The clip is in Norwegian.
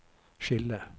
skille